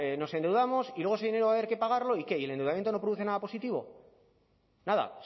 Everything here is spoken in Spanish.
nos endeudamos y luego ese dinero va a haber que pagarlo y qué el endeudamiento no produce nada positivo nada